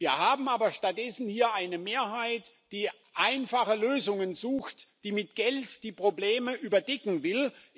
Wir haben aber hier stattdessen eine Mehrheit, die einfache Lösungen sucht, die mit Geld die Probleme überdecken will.